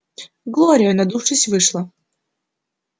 глория надувшись вышла